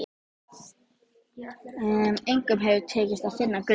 Engum hefur tekist að finna gullið.